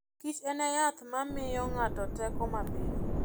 kich en yath ma miyo ng'ato teko mapiyo.